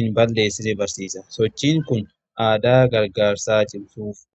hin balleessine barsiisa. Sochiin kun aadaa gargaarsaa cimsuuf.